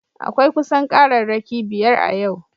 Akwai kusan kararraki biyar a yau